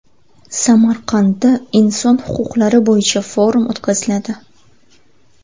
Samarqandda inson huquqlari bo‘yicha forum o‘tkaziladi.